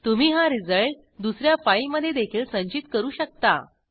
तुम्ही हा रिझल्ट दुस या फाईलमधे देखील संचित करू शकता